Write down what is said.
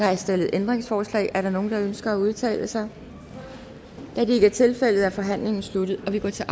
er stillet ændringsforslag er der nogen der ønsker at udtale sig da det ikke tilfældet er forhandlingen sluttet og vi går til